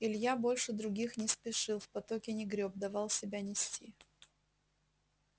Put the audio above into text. илья больше других не спешил в потоке не грёб давал себя нести